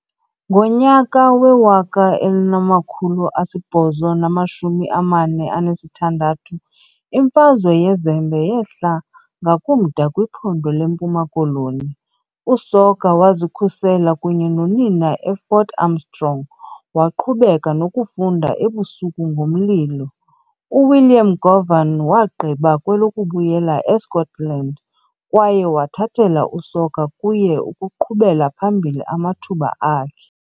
Ngonyaka we-1846, "iMfazwe yeZembe" yehla ngakumda kwiphondo leMpuma Koloni, uSoga wazikhusela kunye nonina eFort Armstrong, waqhubeka nokufunda ebusuku ngomlilo. UWilliam Govan wagqiba kwelokubuyela eScotland kwaye wathathela uSoga kuye ukuqhubela phambili amathuba akhe.